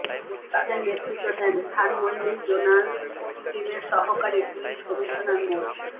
তাদের নেতৃত্ব দেন ধানমন্ডি জোনাল টিমের সহকারী পুলিশ কমিশনার মো